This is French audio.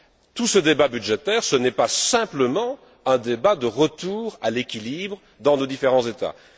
Tout ce débat budgétaire ce n'est pas simplement un débat de retour à l'équilibre dans nos différents États.